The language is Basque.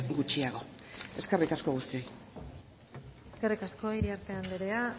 gutxiago eskerrik asko guztiei eskerrik asko iriarte anderea